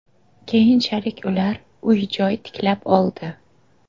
Keyinchalik ular uy-joy tiklab oldi.